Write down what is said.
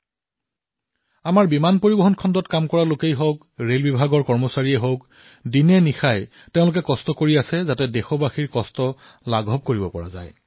আমাৰ অসামৰিক বিমান পৰিবহণ খণ্ডত কাম কৰা লোকেই হওক ৰেলৱে কৰ্মচাৰীয়েই হওক এওঁলোকে দিনেৰাতিয়ে পৰিশ্ৰম কৰি আছে যাতে দেশবাসীৰ সমস্যা হ্ৰাস হওক